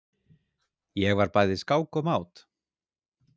Ég var bæði skák og mát.